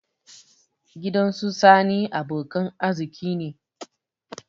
Gidan su sani abokan arziki ne